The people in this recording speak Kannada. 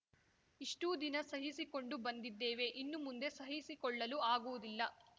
ಇಷ್ಟೂದಿನ ಸಹಿಸಿಕೊಂಡು ಬಂದಿದ್ದೇವೆ ಇನ್ನು ಮುಂದೆ ಸಹಿಸಿಕೊಳ್ಳಲು ಆಗುವುದಿಲ್ಲ